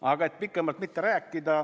Aga et pikemalt mitte rääkida ...